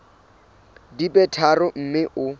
di be tharo mme o